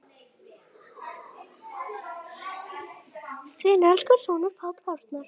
Þinn elsku sonur, Páll Arnar.